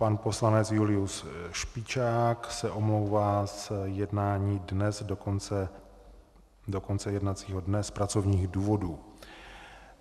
Pan poslanec Julius Špičák se omlouvá z jednání dnes do konce jednacího dne z pracovních důvodů.